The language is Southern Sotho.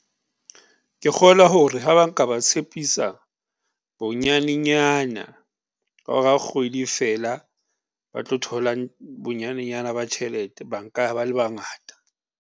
Ke kgolwa hore ha ba nka ba tshepisa bonyane-nyana bao re ha kgwedi e fela ba tlo thola bonyane-nyana ba tjhelete ba nka ya ba le bangata.